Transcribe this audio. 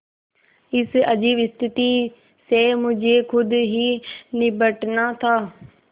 इस अजीब स्थिति से मुझे खुद ही निबटना था